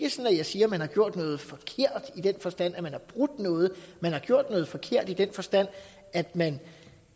jeg siger at man har gjort noget forkert i den forstand at man har brudt noget men man har gjort noget forkert i den forstand at man